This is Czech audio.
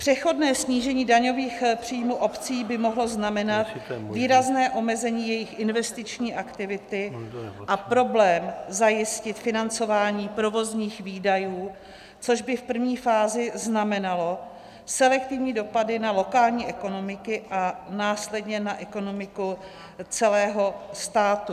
Přechodné snížení daňových příjmů obcí by mohlo znamenat výrazné omezení jejich investiční aktivity a problém zajistit financování provozních výdajů, což by v první fázi znamenalo selektivní dopady na lokální ekonomiky a následně na ekonomiku celého státu.